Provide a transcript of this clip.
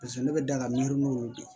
Paseke ne bɛ daga miirimun olu de